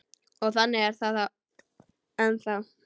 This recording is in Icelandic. Og þannig er það ennþá.